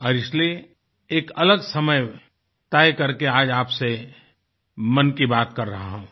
और इसीलिए एक अलग समय तय करके आज आपसे मन की बात कर रहा हूँ